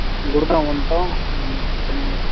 கொடுக்கா வந்துட்டோம் அப்படினு அவுங்க சொன்னாங்க